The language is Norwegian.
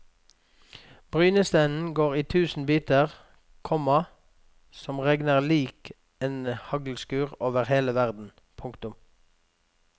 Brynestenen går i tusen biter, komma som regner lik en haglskur over hele verden. punktum